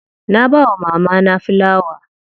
Na bawa mamana filawa.